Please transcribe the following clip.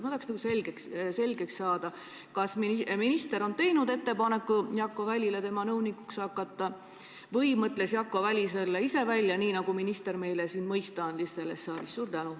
Ma tahaksin selgeks saada, kas minister on teinud ettepaneku Jakko Välile tema nõunikuks hakata või mõtles Jakko Väli selle ise välja, nagu minister meile siin selles saalis mõista andis.